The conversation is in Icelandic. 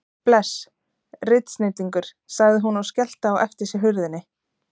Bless. ritsnillingur, sagði hún og skellti á eftir sér hurðinni.